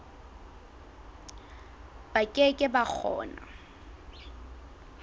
ba ke ke ba kgona